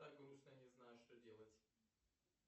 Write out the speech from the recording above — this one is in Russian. так грустно не знаю что делать